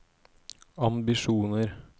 ambisjoner